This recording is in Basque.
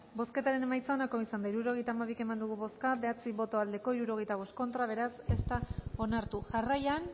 bozketaren emaitza onako izan da hirurogeita hamabi eman dugu bozka hirurogeita hamalau eman dugu bozka bederatzi boto aldekoa sesenta y cinco contra beraz ez da onartu jarraian